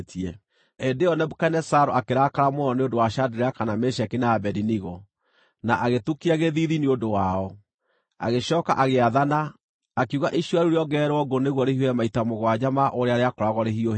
Hĩndĩ ĩyo Nebukadinezaru akĩrakara mũno nĩ ũndũ wa Shadiraka, na Meshaki, na Abedinego, na agĩtukia gĩthiithi nĩ ũndũ wao. Agĩcooka agĩathana, akiuga icua rĩu rĩongererwo ngũ nĩguo rĩhiũhe maita mũgwanja ma ũrĩa rĩakoragwo rĩhiũhĩte.